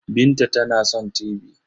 Binta tana son tibi.